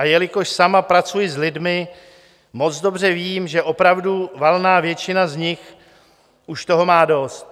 A jelikož sama pracuji s lidmi, moc dobře vím, že opravdu valná většina z nich už toho má dost.